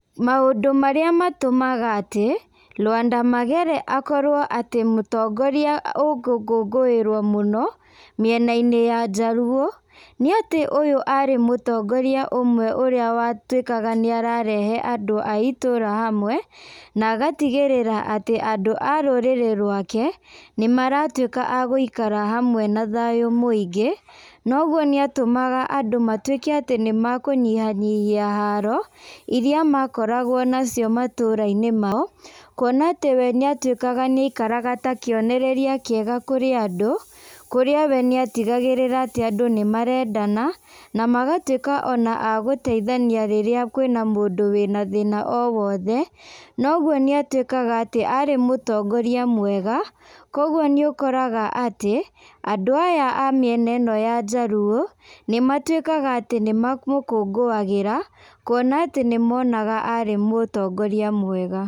Maũndũ marĩa matũmaga atĩ Lwanda Magere akorwo atĩ mũtongoria ũngĩngũngũĩrwo mũno, mĩena-inĩ ya Jaluo, nĩ atĩ ũyũ arĩ mũtongoria ũmwe ũrĩa watuĩkaga nĩ ararehe andũ a itũra hamwe, na agatigĩrĩra atĩ andũ arũrĩrĩ rwake nĩ maratuĩka agũikara hamwe na thayũ mũingĩ, noguo nĩ atũmaga andũ matuĩke atĩ nĩ mekũnyihia nyihia haro, iria makoragwo nacio matũra-inĩ mau, kuona atĩ we nĩ atuĩkaga nĩ aikaraga ta kĩonereria kĩega kũrĩ andũ, kũrĩa we nĩ atigagĩrĩra atĩ andũ nĩ marendana, na magatuĩka ona a gũteithania rĩrĩa kwĩna na mũndũ wĩna thĩna owothe, na ũguo nĩ atuĩkaga atĩ arĩ mũtongoria mwega kwoguo nĩ ũkoraga atĩ andũ aya a mĩena ĩno ya Jaluo, nĩ matuĩkaga atĩ nĩ mamũkũngũagĩra, kuona atĩ nĩ monaga arĩ mũtongoria mwega.